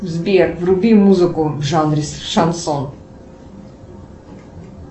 сбер вруби музыку в жанре шансон